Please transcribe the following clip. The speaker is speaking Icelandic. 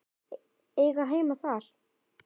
Eiga heima þar?